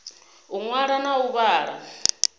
u ṅwala na u vhala